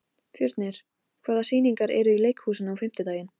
Fjörnir, hvaða sýningar eru í leikhúsinu á fimmtudaginn?